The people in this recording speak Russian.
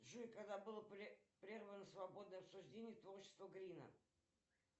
джой когда было прервано свободное обсуждение творчества грина